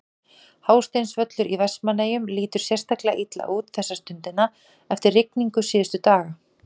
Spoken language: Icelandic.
Hásteinsvöllur í Vestmannaeyjum lítur sérstaklega illa út þessa stundina eftir rigningu síðustu daga.